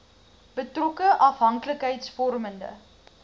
betrokke afhanklikheids vormende